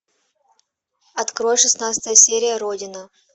открой шестнадцатая серия родина